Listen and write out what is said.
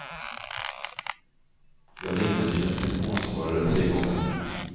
Jag ringde till en telefonsvarare tre gånger.